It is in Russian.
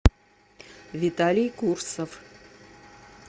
виталий курсов